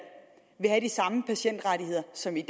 vil have de samme patientrettigheder som i